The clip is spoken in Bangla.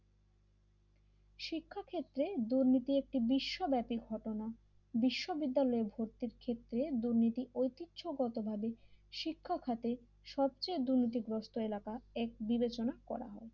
শিক্ষা ক্ষেত্রে দুর্নীতি একটি বিশ্ব ব্যাপীঘটনা বিশ্ববিদ্যালয় ভর্তির ক্ষেত্রে দুর্নীতি ঐতিহ্যগতভাবে শিক্ষা খাতে সবচেয়ে দুর্নীতিগ্রস্ত এলাকা এক বিবেচনা করা হয়।